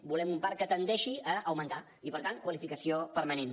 volem un parc que tendeixi a augmentar i per tant qualificació permanent